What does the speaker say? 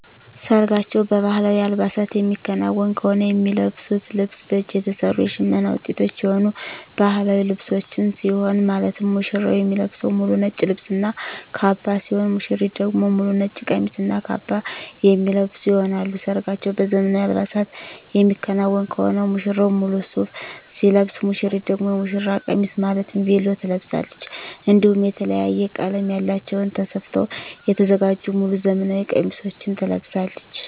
ሰርጋቸው በባህላዊ አልባሳት የሚከናወን ከሆነ የሚለብሱት ልብስ በእጅ የተሰሩ የሽመና ውጤቶች የሆኑ ባህላዊ ልብሶችን ሲሆን ማለትም ሙሽራው የሚለብሰው ሙሉ ነጭ ልብስ እና ካባ ሲሆን ሙሽሪት ደግሞ ሙሉ ነጭ ቀሚስ እና ካባ የሚለብሱ ይሆናል። ሰርጋቸው በዘመናዊ አልባሳት የሚከናወን ከሆነ ሙሽራው ሙሉ ሱፍ ሲለብስ ሙሽሪት ደግሞ የሙሽራ ቀሚስ ማለትም ቬሎ ትለብሳለች። እንዲሁም የተለያየ ቀለም ያላቸውን ተሰፍተው የተዘጋጁ ሙሉ ዘመናዊ ቀሚሶችን ትለብሳለች።